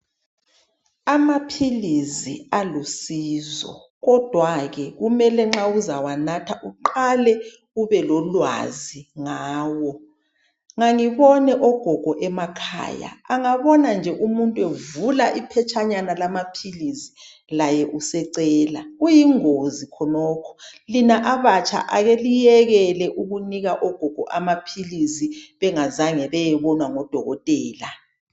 Amaphilizi alusizo kodwa ke kumele nxa uzawanatha uqale ubelolwazi ngawo. Ngangibone ogogo emakhaya angabona nje umuntu evula iphetshanyana lamaphilisi laye usecela. Kuyingozi khonokhu lina abatsha ake liyekele ukunika ogogo amaphilisi bengazange bayebonwa ngodokotela.